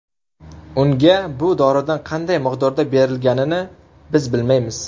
Unga bu doridan qanday miqdorda berilganini biz bilmaymiz.